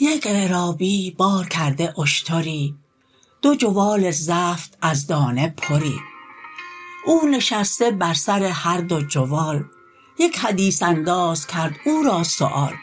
یک عرابی بار کرده اشتری دو جوال زفت از دانه پری او نشسته بر سر هر دو جوال یک حدیث انداز کرد او را سؤال